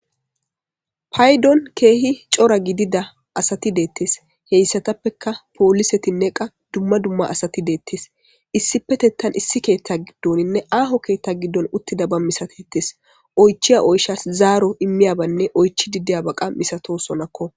paydon keehi cora gidida asati deettes heyssatappeka poolisetinne qa dumma dumma asati deettes issipetettan issi keetta giddoninne aaho keetta giddon uttida ba misatettes oychiya oyshas zaaro immiyabanne oychidi diyaba qas misatosonakko.